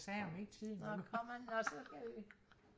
nå kommer han nå så